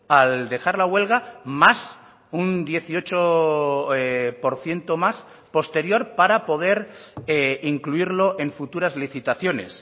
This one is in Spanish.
al dejar la huelga más un dieciocho por ciento más posterior para poder incluirlo en futuras licitaciones